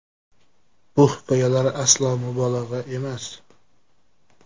Bu hikoyalar aslo mubolag‘a emas.